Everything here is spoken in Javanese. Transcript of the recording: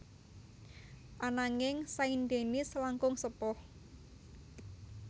Ananging Saint Denis langkung sepuh